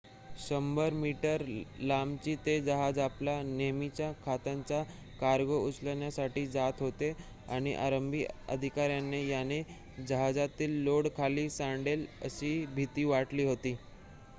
100-मीटर लांबीचे ते जहाज आपला नेहमीचा खतांचा कार्गो उचलण्यासाठी जात होते आणि आरंभी अधिकाऱ्यांना या जहाजातील लोड खाली सांडेल अशी भिती वाटली होती